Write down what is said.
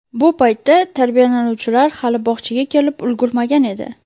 Bu paytda tarbiyalanuvchilar hali bog‘chaga kelib ulgurmagan edi.